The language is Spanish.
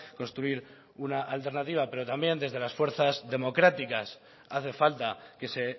construir una alternativa pero también desde las fuerzas democráticas hace falta que se